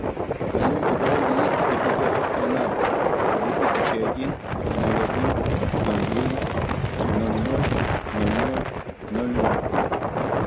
в твоем каталоге есть эпизод тринадцать две тысячи один ноль один ноль девять ноль ноль ноль ноль ноль ноль